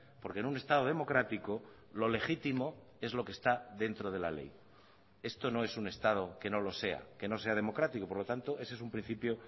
porque en un estado democrático lo legítimo es lo que está dentro de la ley esto no es un estado que no lo sea que no sea democrático por lo tanto ese es un principio